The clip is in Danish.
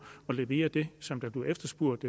at levere det som bliver efterspurgt